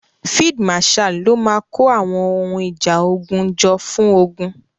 Field marshal ló máa kó àwọn ohun ìjà ogun jọ fún ogun.